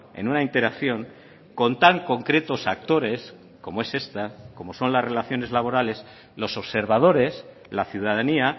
en una interacción con tan concretos actores como es esta como son las relaciones laborales los observadores la ciudadanía